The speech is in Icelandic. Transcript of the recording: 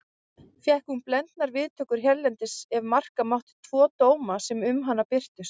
Fékk hún blendnar viðtökur hérlendis ef marka mátti tvo dóma sem um hana birtust.